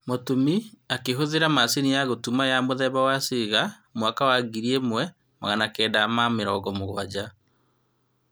Mũtumi akĩhũthira macini ya gũtuma ya mũthemba wa Singer mwaka wa ngiri ĩmwe na magana kenda ma mũgwanja